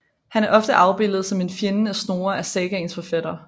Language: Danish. Han er ofte afbildet som en fjende af Snorre af sagaens forfatter